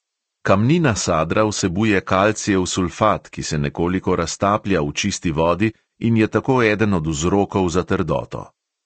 Kamnina sadra vsebuje kalcijev sulfat, ki se nekoliko raztaplja v čisti vodi in je tako eden od vzrokov za trdoto.